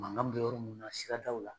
Mankan bɛ yɔrɔ munnu na siradaw la.